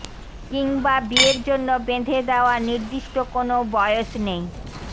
কিংবা বিয়ের জন্য বেঁধে দেওয়া নির্দিষ্ট কোনও বয়স নেই